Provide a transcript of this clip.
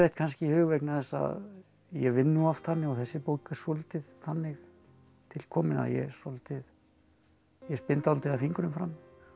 kannski í hug vegna þess að ég vinn nú oft þannig og þessi bók er svolítið þannig til komin að ég svolítið ég spinn dálítið af fingrum fram